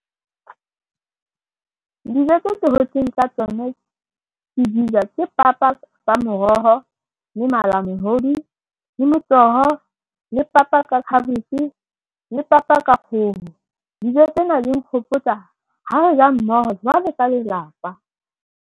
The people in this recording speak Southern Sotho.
Dijo tse tse hotseng ka tsona ke di ja ke papa ka moroho le malamohodu le motoho, le papa ka khabetjhe le papa ka kgoho. Dijo tsena di nkgopotsa ha re ja mmoho jwalo ka lelapa.